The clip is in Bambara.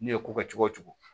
N'i ye ko kɛ cogo o cogo